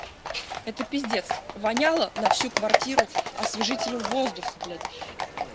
это пиздец воняло на всю квартиру освежителем воздуха блять